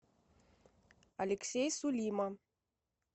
алексей сулима